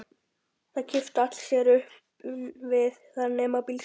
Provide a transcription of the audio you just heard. Það kipptu sér allir upp við það nema bílstjórinn.